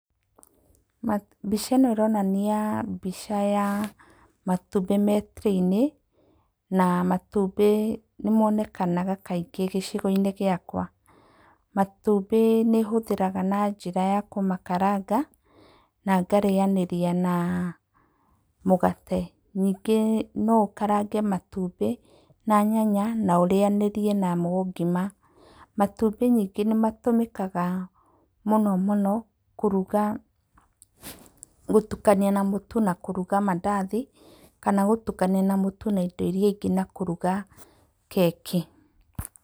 Mbica ĩno ĩronania mbica ya matumbĩ marĩ tray -inĩ na matumbĩ nĩmonekanaga kaingĩ gĩcigoinĩ gĩakwa. Matumbĩ nĩhũthĩraga na njĩra ya kũmakaranga na ngarĩyanĩria na mũgate. Ningĩ no ũkarange matumbĩ na nyanya na ũrĩyanĩrie namo ngima. Matumbĩ ningĩ nĩmatũmĩkaga mũno mũno kũruga gũtukania na mũtu na kũruga mandathi kana gũtukania na mũtu na indo iria ingĩ na kũruga keki.